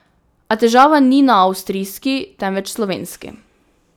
A težava ni na avstrijski temveč slovenski.